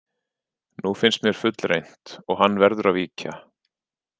Nú finnst mér fullreynt og hann verður að víkja.